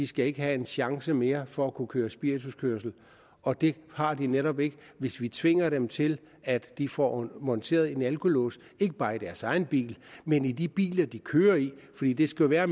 skal have en chance mere for at kunne køre spirituskørsel og det har de netop ikke hvis vi tvinger dem til at de får monteret en alkolås ikke bare i deres egen bil men i de biler de kører i fordi det skal være